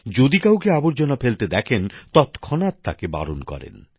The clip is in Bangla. যদি কাউকে আবর্জনা ফেলতে দেখেন তৎক্ষণাৎ তাকে বারণ করেন